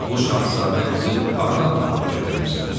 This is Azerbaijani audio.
"Bu şahzadə qızı hardan tapıb gətirmisən?